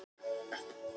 Hann er bara ungur.